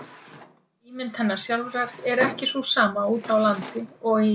Og ímynd hennar sjálfrar er ekki sú sama úti á landi og í